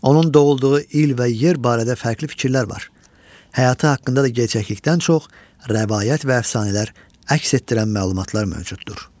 Onun doğulduğu il və yer barədə fərqli fikirlər var, həyatı haqqında da gerçəklikdən çox rəvayət və əfsanələr əks etdirən məlumatlar mövcuddur.